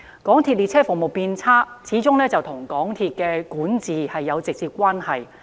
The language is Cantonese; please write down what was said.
港鐵列車服務變差，始終與港鐵公司的管治有直接關係。